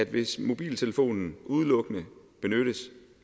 hvis mobiltelefonen udelukkende benyttes